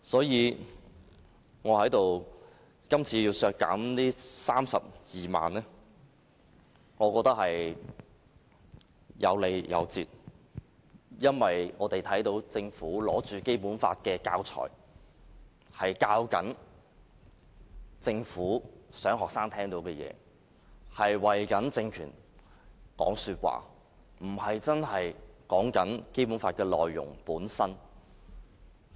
因此，我認為今次要削減這32萬元，是有理有節的，因為我們看到政府拿着《基本法》的教材，教導學生政府聽到的事情，為政權說項，而不是真的說《基本法》的內容本身。